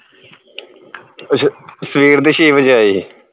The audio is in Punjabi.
ਅੱਛਾ ਸਵੇਰ ਦੇ ਛੇ ਵਜੇ ਆਏ